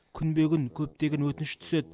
күнбе күн көптеген өтініш түседі